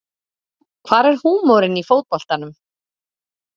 Hvar er húmorinn í fótboltanum